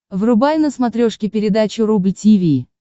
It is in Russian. врубай на смотрешке передачу рубль ти ви